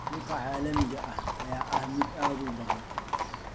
Suuqa caalamiga ah ayaa ah mid aad u baahan.